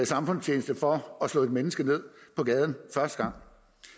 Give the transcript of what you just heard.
samfundstjeneste for at slå et menneske ned på gaden første gang